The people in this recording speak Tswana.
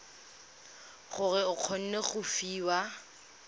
gore o kgone go fiwa